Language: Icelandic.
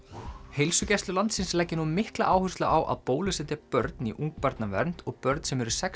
heilsugæslur landsins leggja nú mikla áherslu á að bólusetja börn í ungbarnavernd og börn sem eru sex